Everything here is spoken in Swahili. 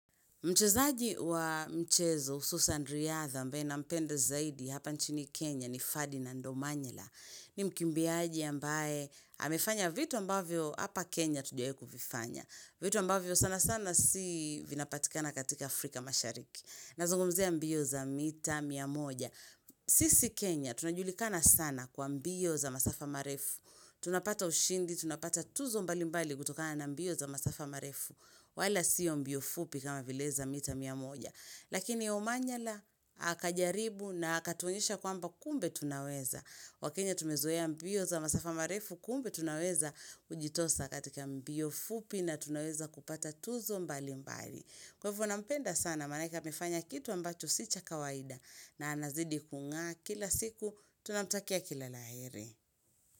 Mchezaji wa mchezo hususan riadha ambaye nampenda zaidi hapa nchini Kenya ni Ferdinand Omanyala ni mkimbiaji ambaye amefanya vitu ambavyo hapa Kenya tujai kuvifanya. Vitu ambavyo sana sana si vinapatikana katika Afrika mashariki. Nazungumzia mbio za mita mia moja. Sisi Kenya tunajulikana sana kwa mbio za masafa marefu. Tunapata ushindi, tunapata tuzo mbali mbali kutokana na mbio za masafa marefu. Wala sio mbio fupi kama vileza mita mia moja. Lakini Omanyala akajaribu na akatuonyesha kwamba kumbe tunaweza. Wakenya tumezoea mbio za masafa marefu kumbe tunaweza ujitosa katika mbio fupi na tunaweza kupata tuzo mbali mbali. Kwaivo nampenda sana manake amefanya kitu ambacho si cha kawaida na anazidi kung'aa kila siku, tunamtakia kila la heri.